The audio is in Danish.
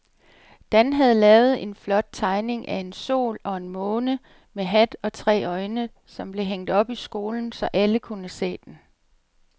Dan havde lavet en flot tegning af en sol og en måne med hat og tre øjne, som blev hængt op i skolen, så alle kunne se den.